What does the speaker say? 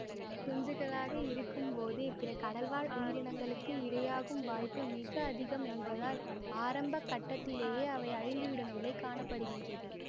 குஞ்சுகளாக இருக்கும் போதே பிற கடல் வாழ் உயிரினங்களுக்கு இரையாகும் வாய்ப்பு மிக அதிகம் என்பதால் ஆரம்ப கட்டத்திலேயெ அவை அழிந்து விடும் நிலை காண படுகின்றது